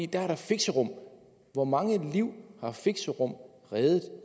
der er fixerum hvor mange liv har fixerum reddet